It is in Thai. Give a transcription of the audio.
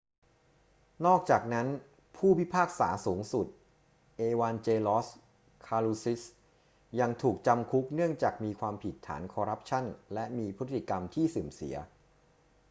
นอกจากนั้น ผู้พิพากษาสูงสุด เอวานเจลอส คาลูซิสยังถูกจำคุกเนื่องจากมีความผิดฐานคอรัปชั่นและมีพฤติกรรมที่เสื่อมเสีย